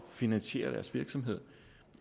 finansiere deres virksomhed